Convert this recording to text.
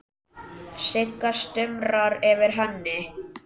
Sigga stumrar yfir henni.